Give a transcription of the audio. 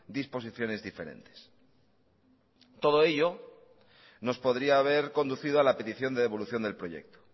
disposiciones diferentes todo ello nos podría haber conducido a la petición de devolución del proyecto